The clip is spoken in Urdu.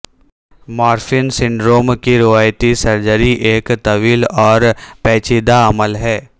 مارفن سنڈروم کی روایتی سرجری ایک طویل اور پیچیدہ عمل ہے